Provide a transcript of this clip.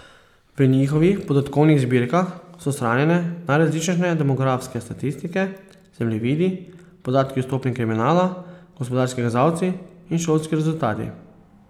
V njihovih podatkovnih zbirkah so shranjene najrazličnejše demografske statistike, zemljevidi, podatki o stopnji kriminala, gospodarski kazalci in šolski rezultati.